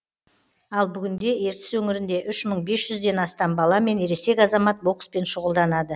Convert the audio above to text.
ал бүгінде ертіс өңірінде үш мың бес жүзден астам бала мен ересек азамат бокспен шұғылданады